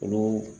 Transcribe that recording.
Olu